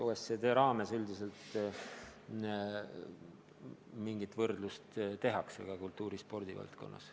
OECD raames üldiselt mingit võrdlust tehakse ka kultuuri- ja spordivaldkonnas.